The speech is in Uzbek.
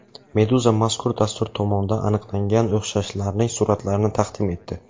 Meduza mazkur dastur tomonidan aniqlangan o‘xshashlarning suratlarini taqdim etdi .